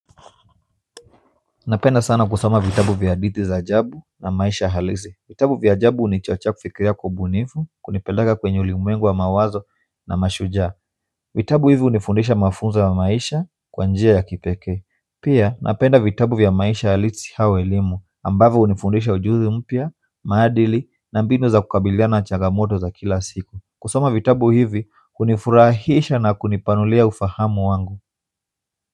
Napenda sana kusoma vitabu vya hadithi za ajabu na maisha halisi vitabu vya ajabu hunichochea kufikiria kwa ubunifu kunipeleka kwenye ulimwengu wa mawazo na mashujaa vitabu hivi hunifundisha mafunzo ya maisha kwabnjia ya kipekee pia napenda vitabu vya maisha halisi au elimu ambavyo hunifundisha ujuzi mpya, maadili na mbinu za kukabilia na changamoto za kila siku kusoma vitabu hivi hunifurahisha na kunipanulia ufahamu wangu.